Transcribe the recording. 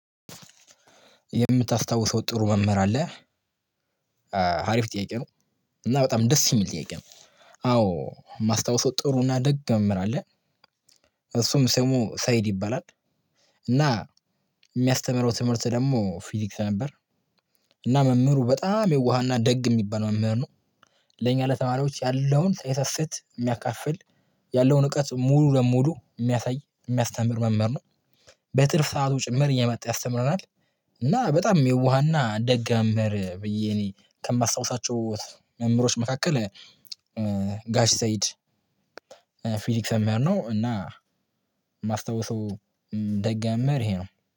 የምታስታውሰው ጥሩ መምህር አለ? አሪፍ ጥያቄ ነው እና በጣም ደስ የሚል ጥያቄ ነው። አዎ የማስታውሰው ጥሩ እና ደግ መምህር አለ። እሱም ሰሙ ሰይድ ይባላል። እና የሚያስተምረው ትምህርት ደግሞ ፊዚክስ ነበር። እና መምህሩ በጣም የዋህና ደግ የሚባል መምህር ነው። ለኛ ለተማሪዎች ያለውን ሳይሰስት የሚያካፍል ያለውን እውቀት ሙሉ በሙሉ የሚያሳይ የሚያስተምር መምህር ነው። በትርፍ ሰዓቱ ጭምር እየመጣ ያስተምረናል። እና በጣም የዋህ እና ደግ መምህር ብዬ እኔ ከማስታውሳቸው መምህሮች መካከል ጋሽ ሰይድ። ፊዚክስ መምህር ነው እና ማስታወሰው ደግ መምህር ይሄ ነው።